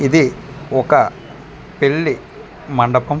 ఇది ఒక పెళ్లి మండపం .